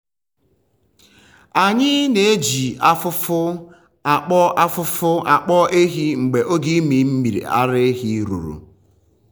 anyị na-eji afụfụ akpọ afụfụ akpọ ehi mgbe oge ịmị mmiri ara ruru.